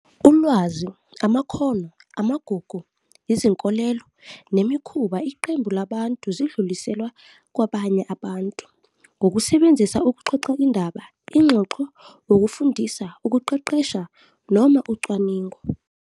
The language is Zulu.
Ulwazi, amakhono, amagugu, izinkolelo, nemikhuba iqembu labantu zidluliselwa abanye abantu, ngokusebenzisa ukuxoxa indaba, ingxoxo, ukufundisa, ukuqeqesha, noma ucwaningo.